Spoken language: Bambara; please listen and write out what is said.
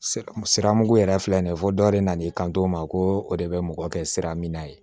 Sira mugu yɛrɛ filɛ nin ye fo dɔ yɛrɛ nana i kanto o ma ko o de bɛ mɔgɔ kɛ sira min na ye